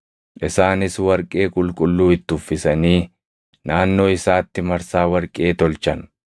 Isaanis warqee qulqulluu itti uffisanii naannoo isaatti marsaa warqee tolchan.